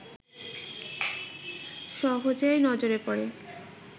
সহজেই নজরে পড়ে